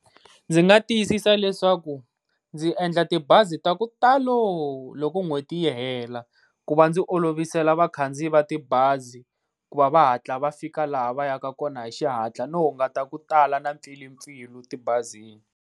Ndzi nga tiyisisa leswaku ndzi endla tibazi ta ku talo loko n'hweti yi hela, ku va ndzi olovisela vakhandziyi va tibazi ku va va hatla va fika laha va ya ka kona hi xihatla no hunguta ku tala na mpfilimpfilu tibazini.